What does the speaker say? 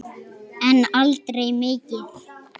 En aldrei mikið.